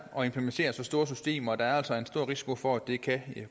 at implementere så store systemer og der er altså en stor risiko for at det kan